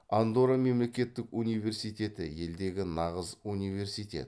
андорра мемлекеттік университеті елдегі нағыз университет